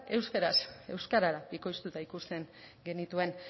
euskaraz euskarara bikoiztuta ikusten genituen